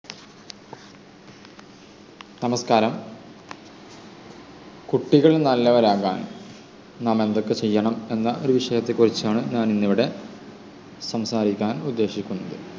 നമസ്കാരം. കുട്ടികൾ നല്ലവരാകാൻ നാം എന്തൊക്കെ ചെയ്യണം എന്ന ഒരു വിഷയത്തെ കുറിച്ചാണ് ഞാനിന്നിവിടെ സംസാരിക്കാൻ ഉദ്ദേശിക്കുന്നത്.